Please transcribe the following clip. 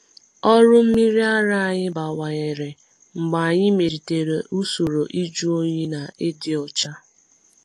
Ọrụ mmiri ara anyị bawanyere mgbe anyị melitere usoro ịjụ oyi na ịdị ọcha.